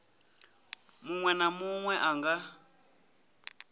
munwe na munwe a nga